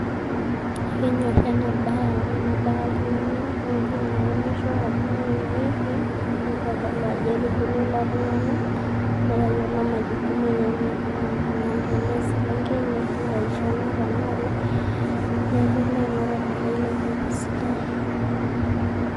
Ekenyori ena bae amu enebaya oltungani oji neemisho ashu ine wueji neemieki ,ntodolu Ajo etubulua ilo tungani ,netayiolo majukumu enyenyek anaa tenee eselenkei nelo agelu tenaa olee neyiolo aingura ormarei te sidai .